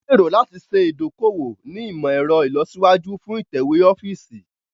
Wọn gbèrò láti ṣe idoko-owo ni imọ-ẹrọ ilọsiwaju fún itẹwe ọfiisi.